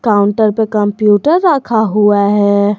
Counter पे computer रखा हुआ है।